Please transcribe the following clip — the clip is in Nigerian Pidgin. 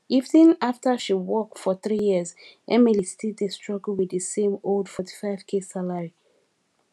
even after she work for 3 years emily still dey struggle with the same old 45k salary